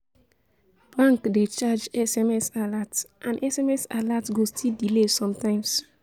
bank dey charge sms alert and sms alert go still delay sometimes